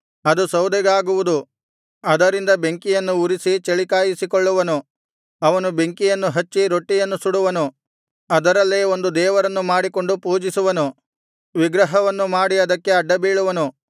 ಅದು ಸೌದೆಗಾಗುವುದು ಅದರಿಂದ ಬೆಂಕಿಯನ್ನು ಉರಿಸಿ ಚಳಿಕಾಯಿಸಿಕೊಳ್ಳುವನು ಅವನು ಬೆಂಕಿಯನ್ನು ಹಚ್ಚಿ ರೊಟ್ಟಿಯನ್ನು ಸುಡುವನು ಅದರಲ್ಲೇ ಒಂದು ದೇವರನ್ನು ಮಾಡಿಕೊಂಡು ಪೂಜಿಸುವನು ವಿಗ್ರಹವನ್ನು ಮಾಡಿ ಅದಕ್ಕೆ ಅಡ್ಡಬೀಳುವನು